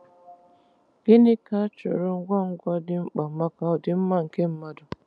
Gịnị ka a chọrọ ngwa ngwa dị mkpa maka ọdịmma nke mmadụ?